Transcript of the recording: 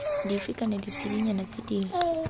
dife kana ditshedinyana tse dingwe